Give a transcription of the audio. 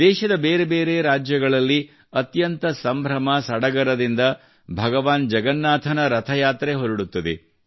ದೇಶದ ಬೇರೆ ಬೇರೆ ರಾಜ್ಯಗಳಲ್ಲಿ ಅತ್ಯಂತ ಸಂಭ್ರಮ ಸಡಗರದಿಂದ ಭಗವಾನ್ ಜಗನ್ನಾಥನ ರಥಯಾತ್ರೆ ಹೊರಡುತ್ತದೆ